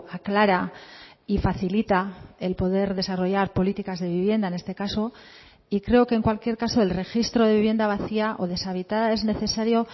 aclara y facilita el poder desarrollar políticas de vivienda en este caso y creo que en cualquier caso el registro de vivienda vacía o deshabitada es necesario